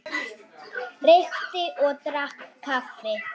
Reykti og drakk kaffi.